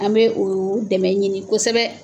An bɛ o o dɛmɛ ɲini kosɛbɛ.